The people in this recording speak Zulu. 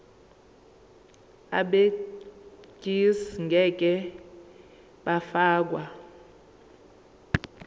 abegcis ngeke bafakwa